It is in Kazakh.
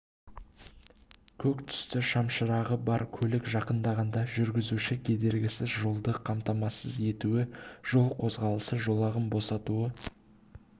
көк түсті шамшырағы бар көлік жақындағанда жүргізуші кедергісіз жолды қамтамасыз етуі жол қозғалысы жолағын босатуы